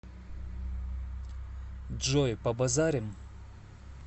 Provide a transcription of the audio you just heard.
джой побазарим